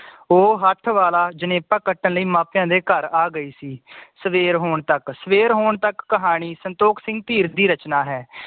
ਉਹ ਹੱਥ ਵਾਲਾ ਜਨੇਫਾ ਕੱਟਣ ਲਈ ਮਾਪਿਆਂ ਦੇ ਘਰ ਆਗਯੀ ਸੀ ਸਵੇਰ ਹੋਣ ਤੱਕ ਸਵੇਰ ਹੋਣ ਤੱਕ ਕਹਾਣੀ ਸੰਤੋਖ ਸਿੰਘ ਧੀਰ ਦੀ ਰਚਨਾ ਹੈ